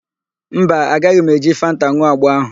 Mba, agaghị m eji fanta n̄ụọ agbo ahụ.